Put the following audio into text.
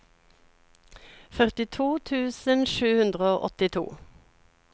førtito tusen sju hundre og åttito